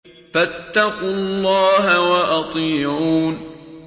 فَاتَّقُوا اللَّهَ وَأَطِيعُونِ